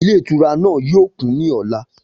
Ilé ìtura náà yóò kún ní ọ̀la